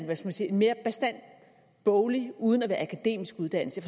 man skal sige en mere bastant boglig uden at være akademisk uddannelse